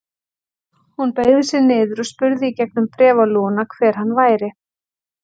Hún beygði sig niður og spurði í gegnum bréfalúguna hver hann væri.